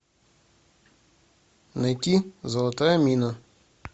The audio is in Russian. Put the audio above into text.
найти золотая мина